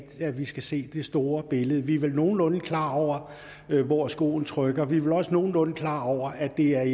vi skal se det store billede vi er vel nogenlunde klar over hvor skoen trykker vi er vel også nogenlunde klar over at det er